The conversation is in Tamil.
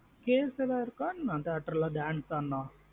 Case எதாவது இருக்க என்ன theatre dance ஆடுன.